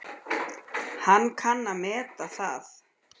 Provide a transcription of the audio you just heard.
Hann kann að meta það.